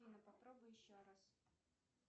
афина попробуй еще раз